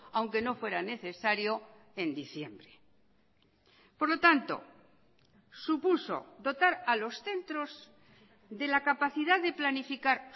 aunque no fuera necesario en diciembre por lo tanto supuso dotar a los centros de la capacidad de planificar